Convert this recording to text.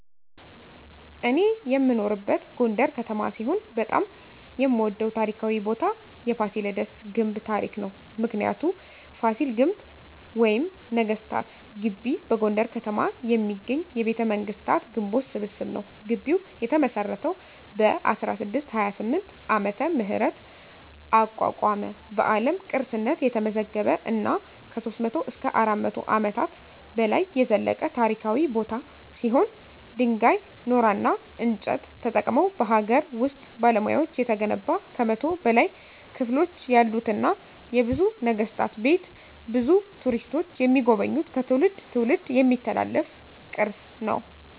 እኔ የምኖርበት ጎንደር ከተማ ሲሆን በጣም የምወደው ታሪካዊ ቦታ የፋሲለደስ ግንብ ታሪክ ነው። ምክንያቱ : ፋሲል ግንብ ወይም ነገስታት ግቢ በጎንደር ከተማ የሚገኝ የቤተመንግስታት ግንቦች ስብስብ ነው። ግቢው የተመሰረተው በ1628 ዓ.ም አቋቋመ በአለም ቅርስነት የተመዘገበ እና ከ300-400 አመታት በላይ የዘለቀ ታሪካዊ ቦታ ሲሆን ድንጋይ ,ኖራና እንጨት ተጠቅመው በሀገር ውስጥ ባለሙያዎች የተገነባ ከ100 በላይ ክፍሎች ያሉትና የብዙ ነገስታት ቤት ብዙ ቱሪስቶች የሚጎበኙት ከትውልድ ትውልድ የሚተላለፍ ቅርስ ነው።